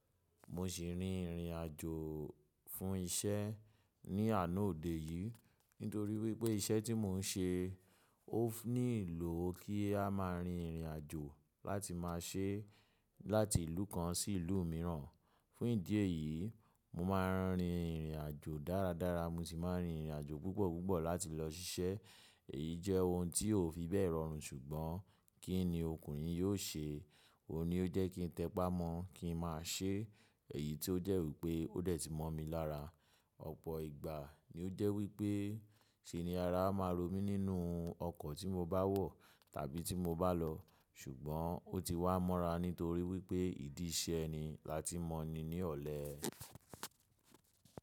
Mo sì rin ìrìn àjò fún isẹ́ ni àná òde yìí, nítorí wípé isẹ́ tí mò ń ṣe ó nílò kí a máa rin ìrìn àjò láti ma ṣe láti ìlú kan sí ìlú mìíràn. Fún ìdí èyí, mo máa ń rin ìrìn àjò dáradára, mo sì máa ń rin ìrìn àjò púpọ̀púpọ̀ láti lọ ṣiṣẹ́. Èyí jẹ́ ohun tí ò fi bẹ́ẹ̀ rọrùn ṣùgbọ́n kí ni ọkùnrin yóò ṣe? Ó ní ó jẹ́ kí n tẹpá mọ́ kí n máa ṣe. Èyí tí ó jẹ́ wípé ó dẹ̀ ti mọ̀ mi lára. Ọ̀pọ̀ ìgbà ni ó jẹ́ wípé ṣe ni ara máa rọ mí nínú ọkọ̀ tí mo bá wọ̀ tàbí tí mo bá lọ, ṣùgbọ́n ó ti wá mọ́ra nítorí wípé ìdí iṣẹ́ ni láti mọ̀ ni ní ọ̀lẹ.